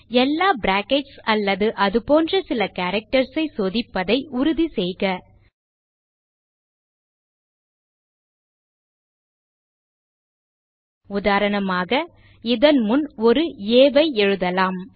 எல்லா பிராக்கெட்ஸ் அல்லது அது போன்ற சில கேரக்டர்ஸ் ஐ சோதிப்பதை உறுதி செய்க உதாரணமாக இதன் முன் ஒரு ஆ ஐ எழுதலாம்